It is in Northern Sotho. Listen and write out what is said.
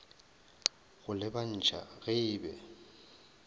go lebantšha ge e be